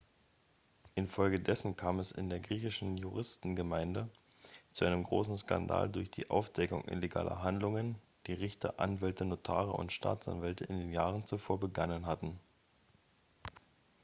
infolgedessen kam es in der griechischen juristengemeinde zu einem großen skandal durch die aufdeckung illegaler handlungen die richter anwälte notare und staatsanwälte in den jahren zuvor begangen hatten